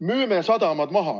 Müüme sadamad maha.